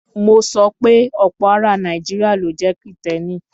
Mo sọ pe ọ̀pọ̀ ara Nàìjíríà ló jẹ́ Kìtẹ́ẹ́nì.